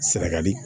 Sɛnɛgali